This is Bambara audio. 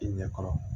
I ɲɛ kɔrɔ